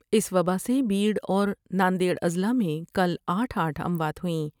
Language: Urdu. اس وباء سے بیڑ اور نا ند بڑا ضلاع میں کل آٹھ آٹھ اموات ہوئیں